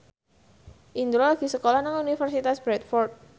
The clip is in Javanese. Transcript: Indro lagi sekolah nang Universitas Bradford